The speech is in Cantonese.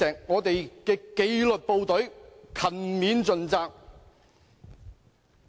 我們的紀律部隊勤勉盡責"。